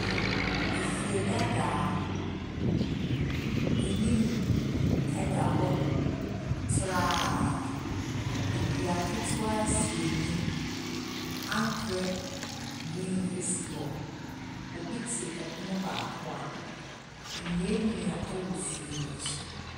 Efidadaa, anim da hɔ traaaaaa Dua ketewa si anim. Ankorɛ green si hɔ. Obi te pono baako ano. Nnua nnua wɔ fie no akyi.